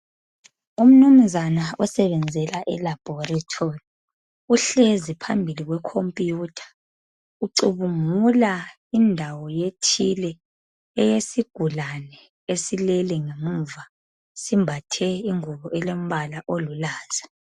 Umnumzana osebenzela eLabhorethori uhlezi phambili kwekhompiyutha, ucubungula indawo ethile eyesigulane esilele ngemuva. Simbathe ingubo elombala olulaza.